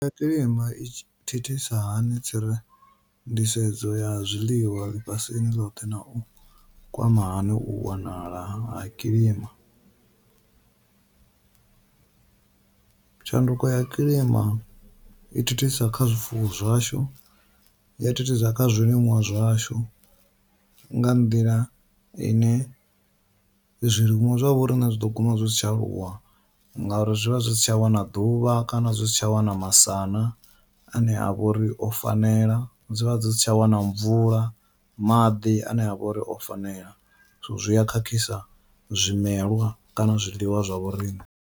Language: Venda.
Tshanduko ya kilima i thithisa hani tsire nḓisedzo ya zwiḽiwa ḽifhasini ḽothe nau kwama hani u wanala ha kilima, tshanduko ya kilima i thithisa kha zwifuwo zwashu ya thithisa kha zwiliṅwa zwashu, nga nḓila ine zwiliṅwa zwa vho riṋe zwi ḓo guma zwi si tsha aluwa ngauri zwi vha zwi si tsha wana ḓuvha kana zwi si tsha wana masana ane avha uri o fanela dzivha dzi si tsha wana mvula maḓi ane avha uri o fanela so zwi a khakhisa zwimelwa kana zwiḽiwa zwa vho riṋe.